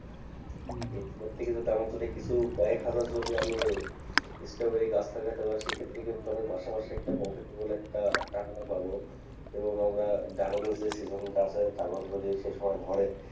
এইটার থেকে যদি আমার যদি কিছু কয়েক হাজার যদি আমি স্ট্রবেরী গাছ লাগাইতে পারি সেক্ষত্রে কিন্তু আমি মাসে মাসে profit বলে একটা টাকাটা পাব এবং আমরা ড্রাগনের যে season টা আছে ড্রাগন যদি সেসময় ধরে,